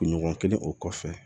Kunɲɔgɔn kelen o kɔfɛ